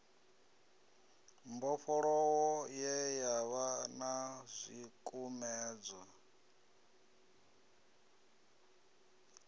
mbofholowo ye yavha na zwikumedzwa